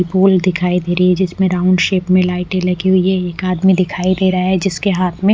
दिखाई दे रही है जिसमें राउंड शेप में लाईटें लगी है एक आदमी दिखाई दे रहा है जिसके हाथ में--